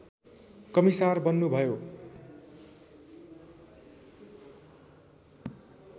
commissar बन्नुभयो